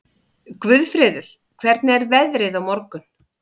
Guðfreður, hvernig er veðrið á morgun?